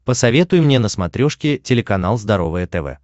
посоветуй мне на смотрешке телеканал здоровое тв